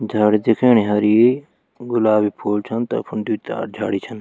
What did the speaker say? झाड़ी दिखेंणी हरी गुलाबी फूल छन तफून दुई चार झाड़ी छन।